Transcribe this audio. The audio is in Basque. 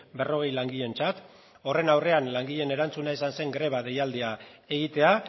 berrogei langileentzat horren aurrean langileen erantzuna izan zen greba deialdia egitea